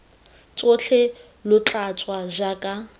tsotlhe lo tla tswa jaaka